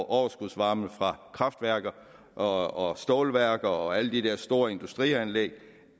overskudsvarme fra kraftværker og stålværker og alle de der store industrianlæg